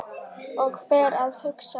Og fer að hugsa